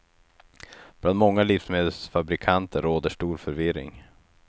Bland många livsmedelsfabrikanter råder stor förvirring.